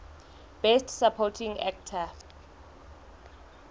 best supporting actor